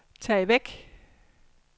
tag væk